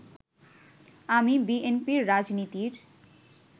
আমি বিএনপির রাজনীতির